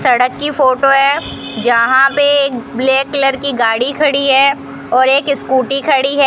सड़क की फोटो है जहां पे ब्लैक कलर की गाड़ी खड़ी है और एक स्कूटी खड़ी है।